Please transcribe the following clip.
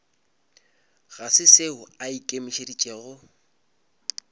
ga se seo a ikemišeditšego